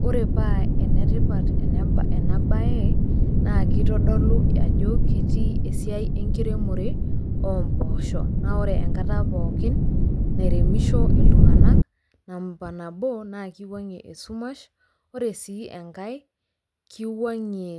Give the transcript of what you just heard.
Kore paa enetipat ena bae, naa keitodolu ajo etii esiai enkiremore omboosho, naa ore enkata pookin nairemisho iltung'ana namba nabo naa keiwang'ie esumash, ore sii engai, keiwang'ie